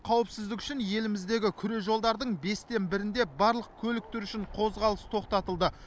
қауіпсіздік үшін еліміздегі күре жолдардың бестен бірінде барлық көлік түрі үшін қозғалыс тоқтатылды